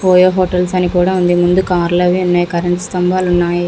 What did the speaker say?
OYO hotels అని కూడా ఉంది. ముందు కార్ లు అవి ఉన్నాయి. కరెంట్ స్తంభాలు ఉన్నాయి.